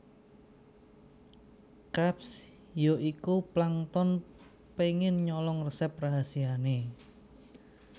Krabs ya iku Plankton pengen nyolong resep rahasiane